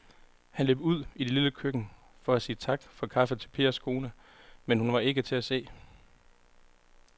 Han løb ud i det lille køkken for at sige tak for kaffe til Pers kone, men hun var ikke til at se.